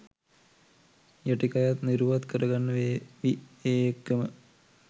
යටිකයත් නිරුවත් කරගන්න වේවි ඒ එක්කම.